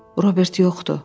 Robert yoxdur!